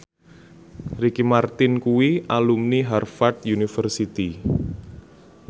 Ricky Martin kuwi alumni Harvard university